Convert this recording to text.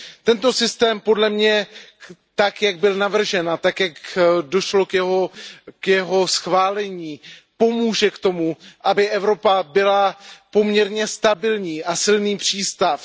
Tento systém podle mě tak, jak byl navržen, a tak, jak došlo k jeho schválení, pomůže k tomu, aby Evropa byla poměrně stabilní a silný přístav.